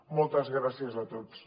moltes gràcies a tots